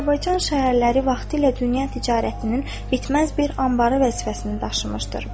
Azərbaycan şəhərləri vaxtilə dünya ticarətinin bitməz bir anbarı vəzifəsini daşımışdır.